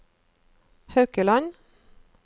Haukeland